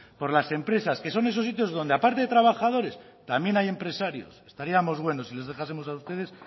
por las empresas que son esos sitios donde aparte de trabajadores también hay empresarios estaríamos buenos si les dejásemos a ustedes